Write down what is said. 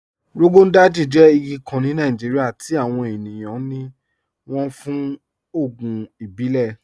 Rọgọn Dàjì jẹ́ igi kàn ní Nàìjíríà tí awọn ènìyàn ní wọ́n fún ògùn ìbílẹ̀.